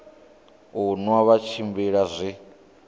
u nwa vha tshimbila zwi